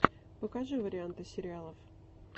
покажи варианты сериалов